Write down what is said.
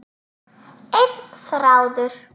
Einn þráður.